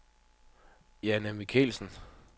Jane Michaelsen